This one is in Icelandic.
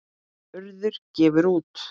Urður gefur út.